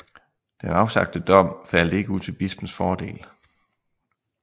Den afsagte dom faldt ikke ud til bispens fordel